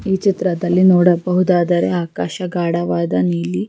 ಈ ಚಿತ್ರದಲ್ಲಿ ನೋಡಬಹುದಾದರೆ ಆಕಾಶ ಗಾಢವಾದ ನೀಲಿ.